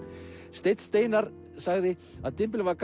steinn Steinarr sagði að